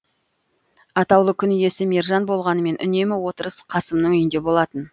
атаулы күн иесі мержан болғанымен үнемі отырыс қасымның үйінде болатын